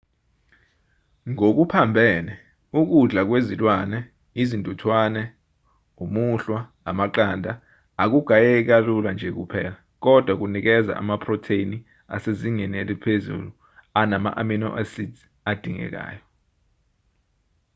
ngokuphambene ukudla kwezilwane izintuthwane umuhlwa amaqanda akugayeki kalula nje kuphela kodwa kunikeza amaphrotheni asezingeni eliphezulu anama-amino acid adingekayo